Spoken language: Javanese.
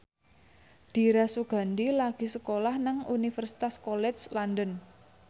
Dira Sugandi lagi sekolah nang Universitas College London